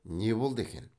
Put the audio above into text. не болды екен